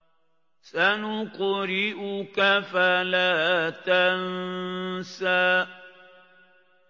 سَنُقْرِئُكَ فَلَا تَنسَىٰ